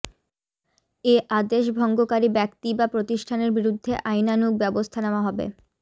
এ আদেশ ভঙ্গকারী ব্যক্তি বা প্রতিষ্ঠানের বিরুদ্ধে আইনানুগ ব্যবস্থা নেওয়া হবে